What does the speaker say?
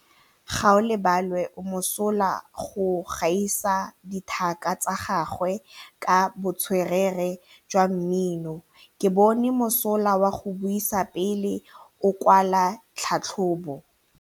Gaolebalwe o mosola go gaisa dithaka tsa gagwe ka botswerere jwa mmino. Ke bone mosola wa go buisa pele o kwala tlhatlhobô.